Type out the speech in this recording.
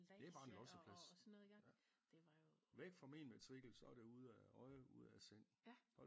Det er bare en losseplads væk fra min matrikel så er det ude af øje ude af sind